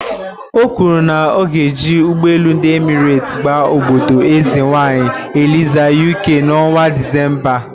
O kwuru na ya ga-eji ugboelu ndi Emirate gaa obodo eze nwanyi Eliza "Uk" na ọnwa Disemba a